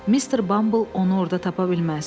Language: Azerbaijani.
Mister Bambl onu orada tapa bilməz.